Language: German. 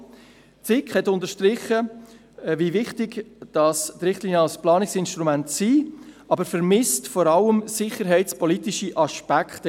Die SiK hat unterstrichen, wie wichtig die Richtlinien als Planungsinstrument sind, aber sie vermisst vor allem sicherheitspolitische Aspekte.